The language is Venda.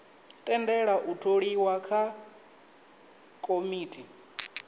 tendela u tholiwa ha komiti